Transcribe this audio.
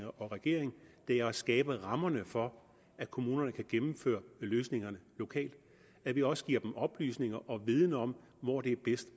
og regeringen er at skabe rammerne for at kommunerne kan gennemføre løsningerne lokalt og at vi også giver dem oplysninger og viden om hvor det er bedst